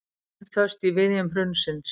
Enn föst í viðjum hrunsins